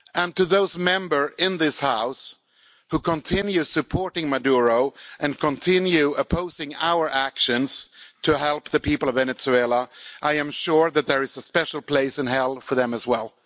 To those Members in this House who continue supporting Maduro and continue opposing our actions to help the people of Venezuela, I am sure that there is a special place in hell for them as well.